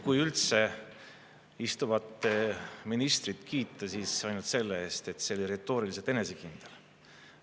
Kui üldse ministrit kiita, siis ainult selle eest, et ta oli retooriliselt enesekindel.